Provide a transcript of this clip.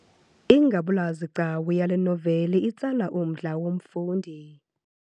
Ingabulazigcawu yale noveli itsala umdla womfundi.